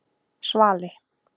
Svali